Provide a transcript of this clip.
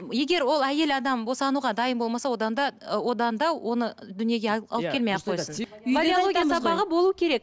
егер ол әйел адам босануға дайын болмаса одан да ы одан да оны дүниеге алып келмей ақ қойсын